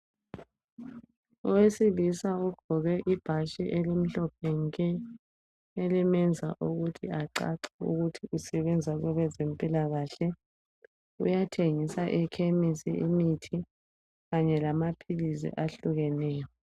Owesilisa ogqoke ibhatshi elimhlophe nke elimenza ukuthi acace ukuthi usebenza kwabezempilakahle uyathengisa ekhemisi imithi kanye lamaphilisi ahlukeneyo.